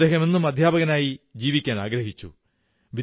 അദ്ദേഹം എന്നും അധ്യാപകനായി ജീവിക്കാനാഗ്രഹിച്ചു